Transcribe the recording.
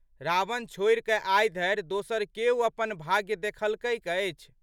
रावण छोड़िकए आइधरि दोसर केओ अपन भाग्य देखलकै अछि?